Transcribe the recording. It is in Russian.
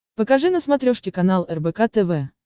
покажи на смотрешке канал рбк тв